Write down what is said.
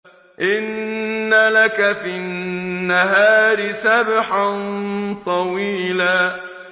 إِنَّ لَكَ فِي النَّهَارِ سَبْحًا طَوِيلًا